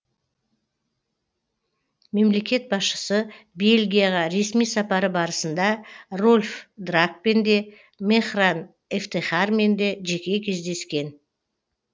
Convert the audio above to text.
мемлекет басшысы бельгияға ресми сапары барысында рольф драакпен де мехран эфтехармен де жеке кездескен